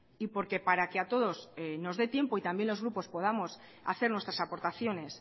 y porque para que a todos nos dé tiempo y también los grupos podamos hacer nuestras aportaciones